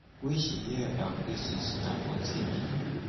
wey she hear about braces na for tv